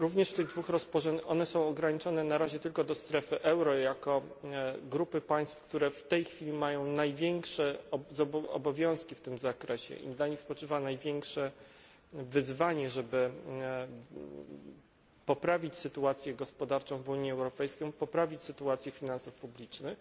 Te dwa rozporządzenia ograniczają się na razie tylko do strefy euro jako grupy państw, które w tej chwili mają największe obowiązki w tym zakresie i na nich spoczywa największe wyzwanie, żeby poprawić sytuację gospodarczą w Unii Europejskiej, poprawić sytuację finansów publicznych.